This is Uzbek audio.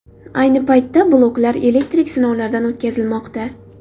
Ayni paytda bloklar elektrik sinovlardan o‘tkazilmoqda.